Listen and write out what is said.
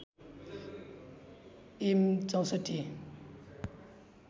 am ६४